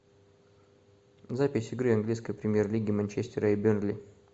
запись игры английской премьер лиги манчестера и бернли